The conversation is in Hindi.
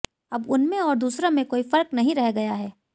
अब उनमें और दूसरों में कोई फर्क नहीं रह गया है